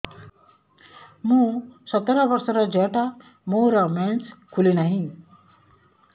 ମୁ ସତର ବର୍ଷର ଝିଅ ଟା ମୋର ମେନ୍ସେସ ଖୁଲି ନାହିଁ